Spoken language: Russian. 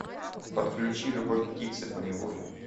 подключи любовь птицы поневоле